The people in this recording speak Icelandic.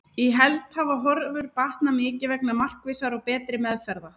Í heild hafa horfur batnað mikið vegna markvissari og betri meðferða.